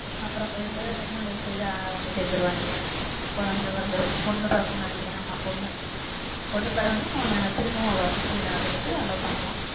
அப்புறம் போயிட்டு husband and wife ஆ ஒண்ணு சேர்ந்துருவாயிங்க குழந்தை பிறந்திரும் பொண்ணு பிறக்கும்னு நினைக்கிறேன் ஆமா பொண்ணு பொண்ணு பிறந்தும் அவன திரும்பவும் அவ குஸ்தி விளையாடறதுக்கு allow பண்ணுவான்